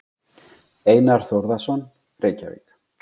Einar Þórðarson, Reykjavík.